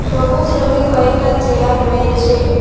সবুজ রঙ্গের কয়েকটা চেয়ার রয়েছে।